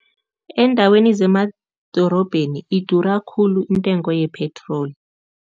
Eendaweni zemadorobheni idura khulu intengo yepetroli.